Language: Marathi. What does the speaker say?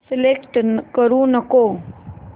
सिलेक्ट करू नको